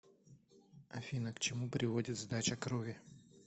афина к чему приводит сдача крови